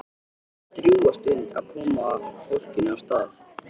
Það tekur drjúga stund að koma fólkinu af stað.